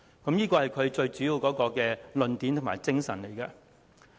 這是他提出議案的主要論點及精神。